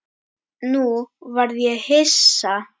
Nú varð ég hissa.